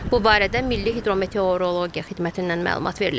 Bu barədə Milli Hidrometeorologiya Xidmətindən məlumat verilib.